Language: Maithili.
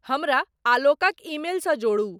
हमरा आलोकक ईमेल सॅ जोरू ।